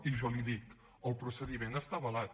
i jo li dic el procediment està avalat